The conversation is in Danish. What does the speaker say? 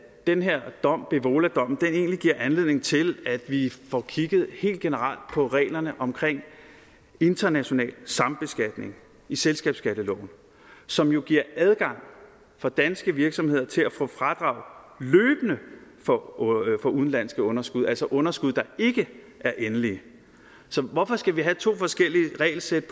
den her dom bevoladommen egentlig giver anledning til at vi får kigget helt generelt på reglerne om international sambeskatning i selskabsskatteloven som jo giver adgang for danske virksomheder til løbende at få fradrag for udenlandske underskud altså underskud der ikke er endelige så hvorfor skal vi have to forskellige regelsæt